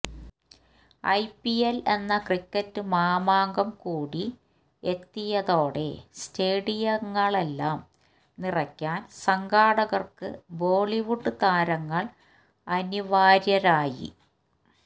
I P L എന്ന cricket മാമാങ്കം കൂടി എത്തിയതോടെ സ്റ്റേഡിയങ്ങളെല്ലാം നിറയ്ക്കാന് സംഘാടകര്ക്ക് ബോളിവുഡ് താരങ്ങള് അനിവാര്യരായി